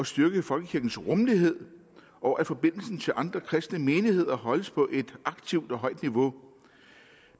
styrker folkekirkens rummelighed og at forbindelsen til andre kristne menigheder holdes på et aktivt og højt niveau